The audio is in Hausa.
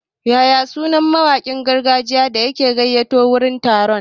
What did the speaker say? Yaya sunar mawakin gargajiyan da aka gayyato wurin taron?